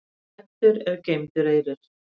Græddur er geymdur eyrir.